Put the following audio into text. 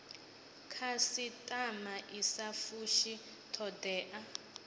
khasitama i sa fushi thodea